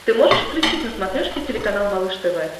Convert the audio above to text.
ты можешь включить на смотрешке телеканал малыш тв